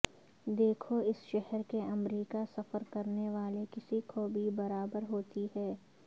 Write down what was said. دیکھو اس شہر کے امریکہ سفر کرنے والے کسی کو بھی برابر ہوتی ہے